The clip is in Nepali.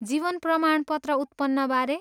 जीवन प्रमाणपत्र उत्पन्नबारे?